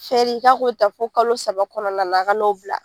Fɛri ka ko ta fo kalo saba kɔnɔna na a ka n'o bila.